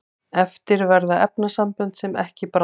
eftir verða efnasambönd sem ekki bráðnuðu